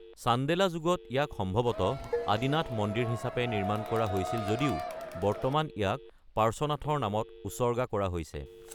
চান্দেলা যুগত ইয়াক সম্ভৱতঃ আদিনাথ মন্দিৰ হিচাপে নিৰ্মাণ কৰা হৈছিল যদিও বৰ্তমান ইয়াক পাৰ্শ্বনাথৰ নামত উচৰ্গা কৰা হৈছে।